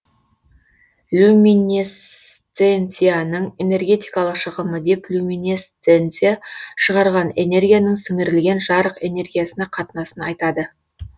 люминесценцияның энергетикалық шығымы деп люминесценция шығарған энергияның сіңірілген жарық энергиясына қатынасын айтадыю